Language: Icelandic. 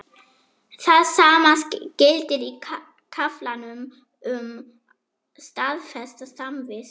Það sama gildir í kaflanum um staðfesta samvist.